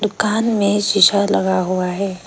दुकान में शीशा लगा हुआ है।